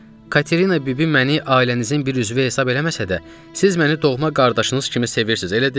Katerina bibi məni ailənizin bir üzvü hesab eləməsə də, siz məni doğma qardaşınız kimi sevirsiz, elə deyil?